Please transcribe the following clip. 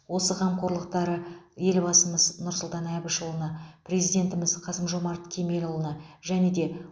осы қамқорлықтары елбасымыз нұрсұлтан әбішұлына президентіміз қасым жомарт кемелұлына және де